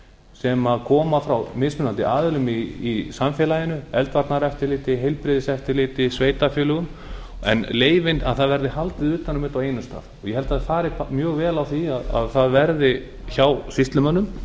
sem komi frá mismunandi aðilum í samfélaginu eldvarnaeftirliti heilbrigðiseftirliti sveitarfélögum en leyfin það verði haldið utan um þetta á einum stað ég held að það fari mjög vel á því að það verði hjá sýslumönnum